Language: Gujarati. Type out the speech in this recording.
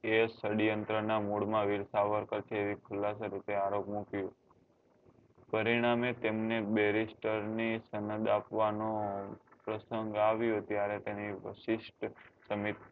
કે ષડ્યંત્ર નાં mood માં વીર સાવરકર પ્રત્યે રૂપે આરોપ મુક્યો પરિણામે તેમને berister ની સમેદ આપવા નો પ્રસંગ આવ્યો ત્યારે તેને શિષ્ટ સમી